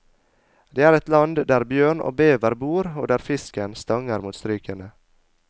Det er et land der bjørn og bever bor og der fisken stanger mot strykene.